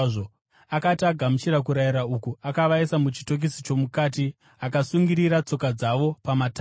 Akati agamuchira kurayira uku, akavaisa muchitokisi chomukati akasungirira tsoka dzavo pamatanda.